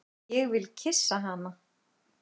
Ég vil kyssa hana.